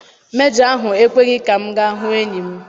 Mejọ ahụ ekweghị ka m gaa hụ enyi m.